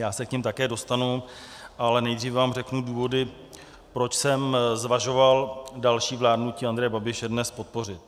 Já se k nim také dostanu, ale nejdřív vám řeknu důvody, proč jsem zvažoval další vládnutí Andreje Babiše dnes podpořit.